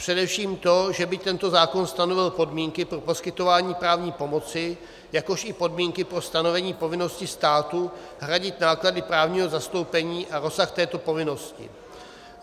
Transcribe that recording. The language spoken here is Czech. Především to, že by tento zákon stanovil podmínky pro poskytování právní pomoci, jakož i podmínky pro stanovení povinnosti státu hradit náklady právního zastoupení a rozsah této povinnosti.